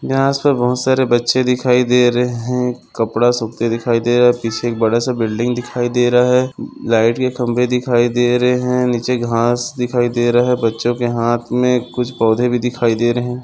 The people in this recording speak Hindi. यहा सब बहुत सारे बच्चे दिखाई दे रहे है कपड़ा सुखते दिखाई दे रहा है पीछे एक बड़ासा बिल्डिंग दिखाई दे रहा है लाइट के खंबे दिखाई दे रहे है नीचे घास दिखाई दे रही है बच्चों के हाथ मे कुछ पौधे भी दिखाई दे रहे है।